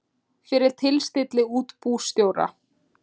fyrir tilstilli útibússtjóra.